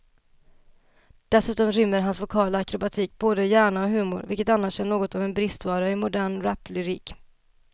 Dessutom rymmer hans vokala akrobatik både hjärna och humor, vilket annars är något av en bristvara i modern raplyrik.